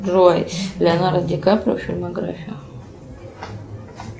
джой леонардо ди каприо фильмография